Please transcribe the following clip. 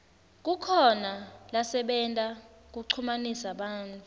kukhona lasebenta kuchumanisa bantfu